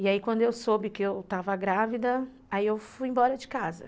E aí quando eu soube que eu estava grávida, aí eu fui embora de casa.